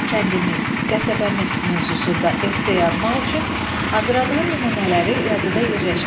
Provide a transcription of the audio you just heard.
Kəndimiz, qəsəbəmiz mövzusunda esse yazmaq üçün hazırladığın nümunələri yazıda yerləşdir.